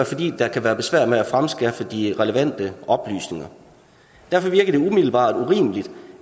fordi der kan være besvær med at fremskaffe de relevante oplysninger derfor virker det umiddelbart urimeligt